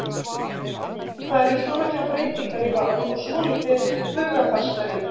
Það eru miklar breytingar í Val og svolítil hugarfarsbreyting?